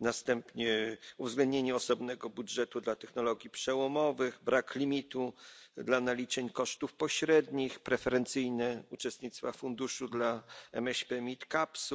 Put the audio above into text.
następnie uwzględnienie osobnego budżetu dla technologii przełomowych, brak limitu dla naliczeń kosztów pośrednich, preferencyjne uczestnictwa w funduszu dla MŚP i mid capsów